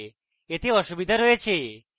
এতে অসুবিধা আছে